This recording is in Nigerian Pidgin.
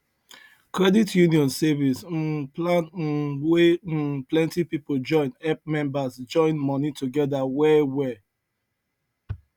credit union saving um plan um wey um plenty people join help members join money together well well